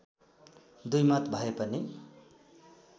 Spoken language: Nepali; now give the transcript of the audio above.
दुईमत भए पनि